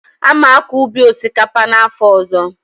A ma-akọ ubi osikapa n'afọ ọzọ.